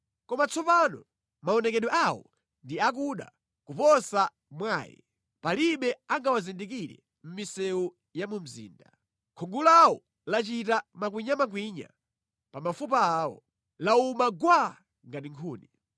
Koma tsopano maonekedwe awo ndi akuda kuposa mwaye; palibe angawazindikire mʼmisewu ya mu mzinda. Khungu lawo lachita makwinyamakwinya pa mafupa awo; lawuma gwaa ngati nkhuni.